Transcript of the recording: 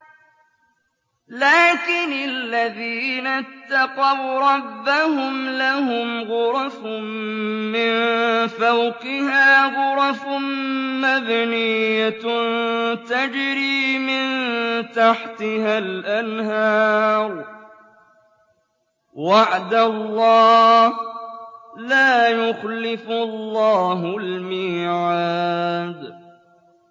لَٰكِنِ الَّذِينَ اتَّقَوْا رَبَّهُمْ لَهُمْ غُرَفٌ مِّن فَوْقِهَا غُرَفٌ مَّبْنِيَّةٌ تَجْرِي مِن تَحْتِهَا الْأَنْهَارُ ۖ وَعْدَ اللَّهِ ۖ لَا يُخْلِفُ اللَّهُ الْمِيعَادَ